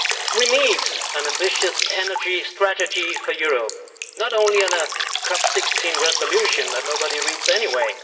We need an ambitious energy strategy for Europe, not only in a COP 16 resolution that nobody reads anyway.